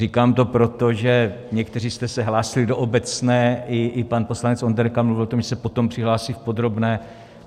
Říkám to proto, že někteří jste se hlásili do obecné, i pan poslanec Onderka mluvil o tom, že se potom přihlásí v podrobné.